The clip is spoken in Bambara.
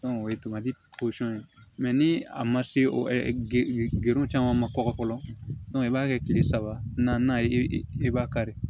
o ye ye ni a ma se o caman ma kɔkɔ fɔlɔ i b'a kɛ kile saba na ye i b'a kari